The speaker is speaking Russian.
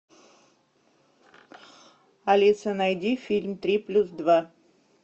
алиса найди фильм три плюс два